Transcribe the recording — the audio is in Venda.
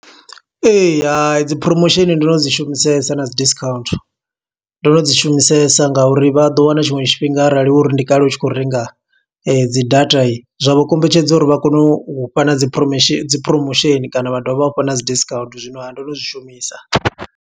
Ee, hai dzi promotion ndo no dzi shumisesa na dzi discount, ndo no dzi shumisesa nga uri vha ḓo wana tshiṅwe tshifhinga arali uri ndi kale u tshi khou renga dzi data. Zwa vho kombetshedza uri vha kone u fha na dzi promition, dzi promotion kana vha dovha vha ufha na dzi discount. Zwino ha, ndo no zwi shumisa.